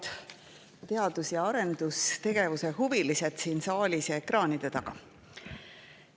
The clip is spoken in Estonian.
Head teadus‑ ja arendustegevuse huvilised siin saalis ja ekraanide taga!